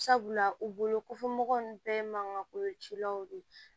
Sabula u bolo kofɔ mɔgɔw nun bɛɛ ye mankan koo cilaw de ye